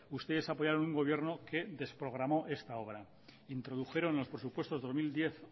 ustedes apoyaron un gobierno que desprogramó esta obra introdujeron los presupuestos dos mil diez